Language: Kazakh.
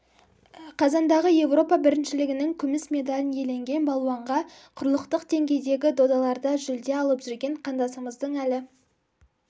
қазандағы еуропа біріншілігінің күміс медальін иеленген балуанға құрлықтық деңгейдегі додаларда жүлде алып жүрген қандасымыздың әлі